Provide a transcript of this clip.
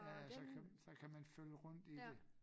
Ja ja så kan så kan man følge rundt i det